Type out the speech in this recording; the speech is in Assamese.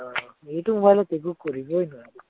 অ এইটো mobile ত একো কৰিবই নোৱাৰি